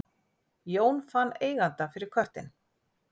Jón fann eiganda fyrir köttinn